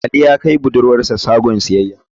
Ali ya kai budurwar sa shagon siyayya.